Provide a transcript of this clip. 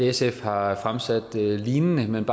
sf har fremsat lignende men